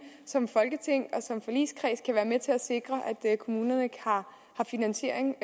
som folketing og med til at sikre at kommunerne har finansiering